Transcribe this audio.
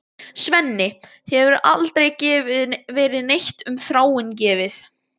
Svenni, þér hefur aldrei verið neitt um Þráin gefið.